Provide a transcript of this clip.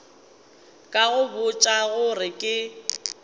ka go botša gore ke